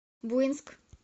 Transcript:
буинск